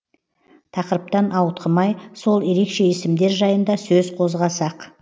тақырыптан ауытқымай сол ерекше есімдер жайында сөз қозғасақ